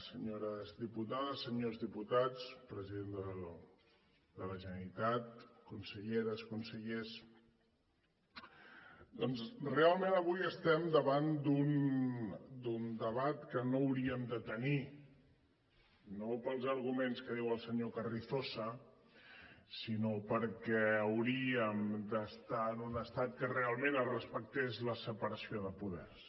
senyores diputades senyors diputats president de la generalitat conselleres consellers doncs realment avui estem davant d’un debat que no hauríem de tenir no pels arguments que diu el senyor carrizosa sinó perquè hauríem d’estar en un estat en què realment es respectés la separació de poders